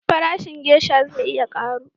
Farashin gesha zai iya karu